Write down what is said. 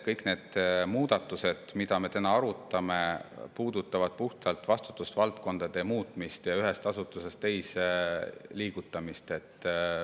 Kõik need muudatused, mida me täna arutame, puudutavad puhtalt vastutusvaldkondade muutmist, ühest asutusest teise liigutamist.